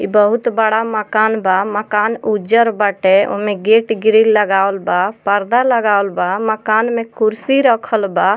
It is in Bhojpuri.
इ बहुत बड़ा मकान बा | मकान उज्जर बाटे | उमे गेट ग्रिल लगावल बा पर्दा लगावल बा मकान में कुर्सी रखल बा |